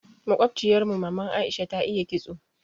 Makobciyar mu maman Aisha ta iya ƙitso.